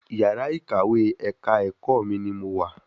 Yàrá ìkàwé ẹ̀ka ẹ̀kọ́ mi ní mo wà